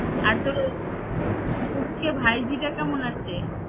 আর তোর পুঁচকে ভাইজিটা কেমন আছে?